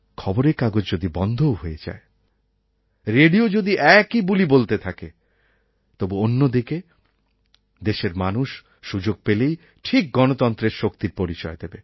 খবরের কাগজ যদি বন্ধও হয়ে যায় রেডিও যদি একই বুলি বলতে থাকে তবু অন্যদিকে দেশের মানুষ সুযোগ পেলেই ঠিক গণতন্ত্রের শক্তির পরিচয় দেবে